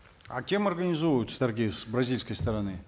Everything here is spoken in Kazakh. а кем организовываются торги с бразильской стороны